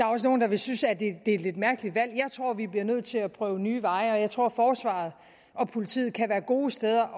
også nogle der vil synes at det er et lidt mærkeligt valg jeg tror vi bliver nødt til at prøve nye veje og jeg tror at forsvaret og politiet kan være gode steder